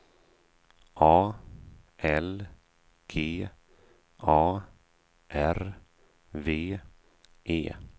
A L G A R V E